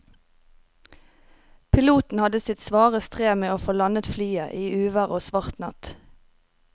Piloten hadde sitt svare strev med å få landet flyet i uvær og svart natt.